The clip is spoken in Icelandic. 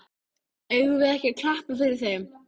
Eigum við ekki að klappa fyrir þeim?